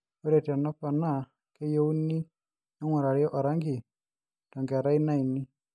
ore tanaponaa keyiuni ningurari erangi too nkerai naini